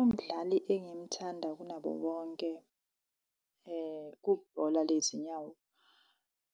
Umdlali engimthanda kunabo bonke kubhola lezinyawo,